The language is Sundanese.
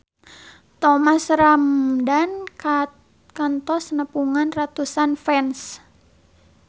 Thomas Ramdhan kantos nepungan ratusan fans